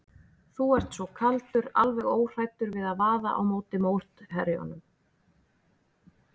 Þú ert svo kaldur, alveg óhræddur við að vaða á móti mótherjunum.